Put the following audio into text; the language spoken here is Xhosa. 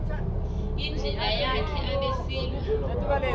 indlela yakhe abesilwa